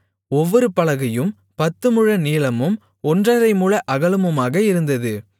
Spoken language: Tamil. ஒவ்வொரு பலகையும் பத்துமுழ நீளமும் ஒன்றரைமுழ அகலமுமாக இருந்தது